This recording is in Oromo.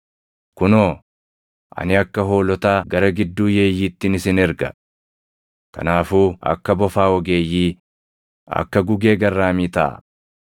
“Kunoo, ani akka hoolotaa gara gidduu yeeyyiittin isin erga. Kanaafuu akka bofaa ogeeyyii, akka gugee garraamii taʼaa.